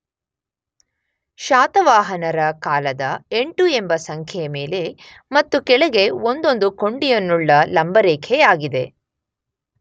ಶಾತವಾಹನರ ಕಾಲದ ಎಂಟು ಎಂಬ ಸಂಖ್ಯೆ ಮೇಲೆ ಮತ್ತು ಕೆಳಗೆ ಒಂದೊಂದು ಕೊಂಡಿಯನ್ನುಳ್ಳ ಲಂಬರೇಖೆಯಾಗಿದೆ.